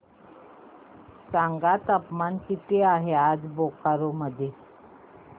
सांगा तापमान किती आहे आज बोकारो मध्ये